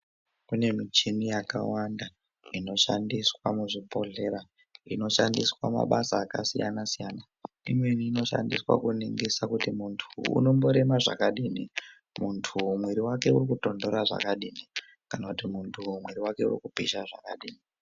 Kune michini yakawanda inoshandiswa muzvibhodhera inoshandiswa mabasa akasiyana-siyana. Imweni inoshandiswa kuningisa kuti muntu uyu unomborema zvakadini. Muntu mwiri vake uri kutonhora zvakadini kana kuti muntu uyu mwiri vake urikupisha zvakadini.